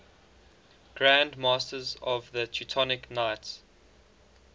grand masters of the teutonic knights